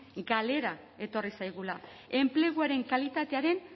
galera etorri zaigula enpleguaren kalitatearen